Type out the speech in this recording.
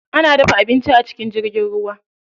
Ana dafa abinci a cikin jirgin ruwa.